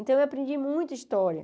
Então, eu aprendi muito história.